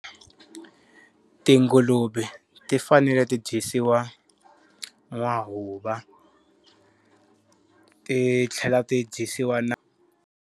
Tinguluve ti fanele ti dyisiwa n'wahuva ti tlhela ti dyisiwa na.